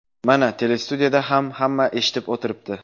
Mana, telestudiyada ham hamma eshitib o‘tiribdi.